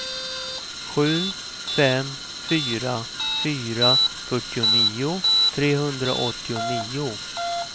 sju fem fyra fyra fyrtionio trehundraåttionio